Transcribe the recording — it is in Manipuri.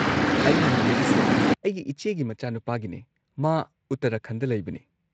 ꯑꯩꯅ ꯍꯪꯖꯔꯤꯁꯦ ꯑꯩꯒꯤ ꯏꯆꯦꯒꯤ ꯃꯆꯥꯅꯨꯄꯥꯒꯤꯅꯦ ꯃꯥ ꯎꯠꯇꯔꯥꯈꯟꯗ ꯂꯩꯕꯅꯦ꯫